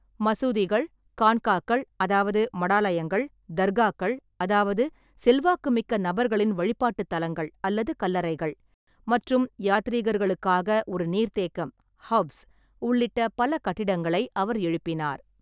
மசூதிகள், கான்காக்கள் அதாவது மடாலயங்கள், தர்காக்கள் அதாவது செல்வாக்குமிக்க நபர்களின் வழிபாட்டுத் தலங்கள் அல்லது கல்லறைகள் மற்றும் யாத்ரீகர்களுக்காக ஒரு நீர்த்தேக்கம் ஹவ்ஸ் உள்ளிட்ட பல கட்டிடங்களை அவர் எழுப்பினார்.